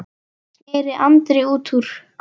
sneri Andri út úr.